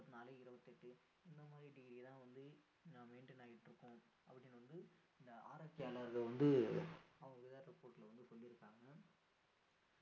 நாளைக்கு இருபத்து எட்டு இந்த மாதிரி degree ஏ தான் வந்துட்டு maintain ஆகிட்டு இருக்கும் அப்படின்னு வந்து இந்த ஆராய்ச்சி ஆளர்கள் வந்து அவங்களுடைய report ல வந்து சொல்லி இருக்காங்க